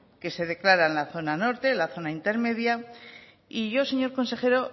que se declara la zona norte la zona intermedia y yo señor consejero